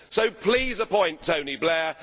So please appoint Tony Blair.